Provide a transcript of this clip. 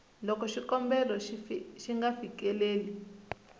loko xikombelo xi nga fikeleli